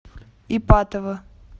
ипатово